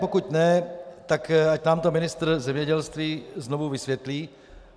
Pokud ne, tak ať nám to ministr zemědělství znovu vysvětlí.